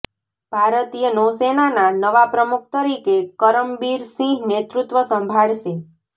ભારતીય નૌસેનાના નવા પ્રમુખ તરીકે કરમબીર સિંહ નેતૃત્વ સંભાળશે